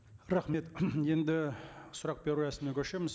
рахмет енді сұрақ беру рәсіміне көшеміз